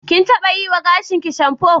Kin taɓa yiwa gashinki shamfo.